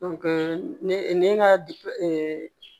ne ne ka